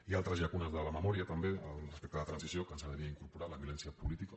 hi ha altres llacunes de la memòria també respecte a la transició que ens agradaria incorporar la violència política